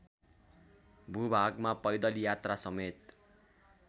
भूभागमा पैदल यात्रासमेत